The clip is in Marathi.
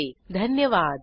सहभागासाठी धन्यवाद